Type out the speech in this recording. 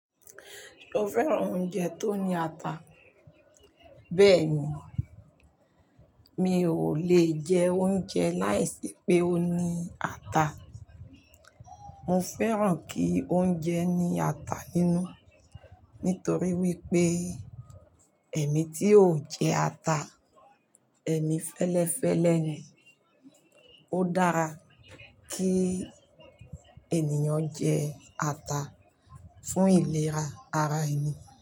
Mo fẹ́ràn oúnjẹ tó ní ata. Bẹ́ẹ̀ni, mi ò lè jẹ oúnjẹ láìsí pé ó ní ata. Mo fẹ́ràn kí oúnjẹ ní ata nínú nítorí wípé ẹ̀mí tí ò jẹ ata, ẹ̀mí fẹ́lẹ́fẹ́lẹ́ ni. Ó dára kí ènìyàn jẹ ata fún ìlera ara ẹni.